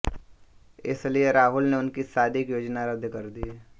इसलिए राहुल ने उनकी शादी की योजना रद्द कर दी